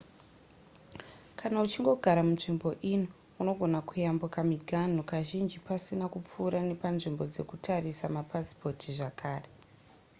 kana uchingogara munzvimbo ino unogona kuyambuka miganhu kazhinji pasina kupfuura nepanzvimbo dzekutarisa mapasipoti zvekare